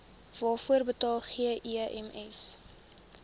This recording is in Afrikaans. waarvoor betaal gems